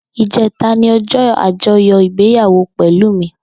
Ijètá ni òjò ájòyò igbéyàwó Pelumi